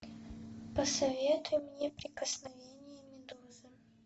посоветуй мне прикосновение медузы